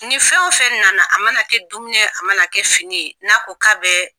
Ni fɛn o fɛn nana, a mana kɛ dumini ye, a mana kɛ fini ye n'a ko k'a bɛ